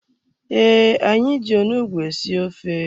Ee, anyị ji onugbu esi ofe.